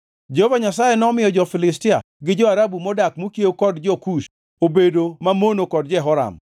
Jehova Nyasaye nomiyo jo-Filistia gi jo-Arabu modak mokiewo kod jo-Kush obedo mamono kod Jehoram.